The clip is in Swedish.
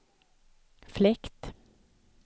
fläkt